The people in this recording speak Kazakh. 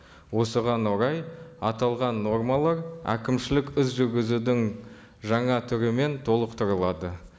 осыған орай аталған нормалар әкімшілік іс жүргізудің жаңа түрімен толықтырылады